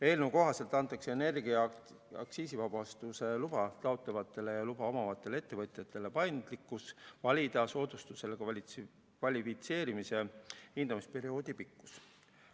Eelnõu kohaselt antakse energia aktsiisivabastuse luba taotlevatele ja luba omavatele ettevõtjatele paindlikkus valida soodustusele kvalifitseerumise hindamisperioodi pikkust.